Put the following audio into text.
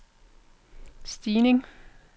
stigning